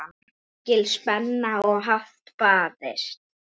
Mikil spenna og hart barist.